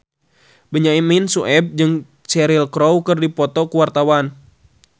Benyamin Sueb jeung Cheryl Crow keur dipoto ku wartawan